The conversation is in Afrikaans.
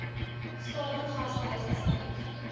statige gastehuis asseblief